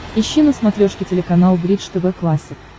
ищи на смотрешке телеканал бридж тв классик